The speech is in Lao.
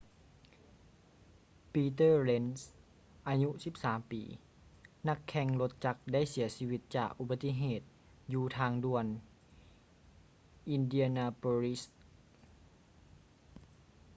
peter lenz ອາຍຸ 13 ປີ ນັກແຂ່ງລົດຈັກໄດ້ເສຍຊີວິດຈາກອຸບັດຕິເຫດຢູ່ທາງດ່ວນ indianapolis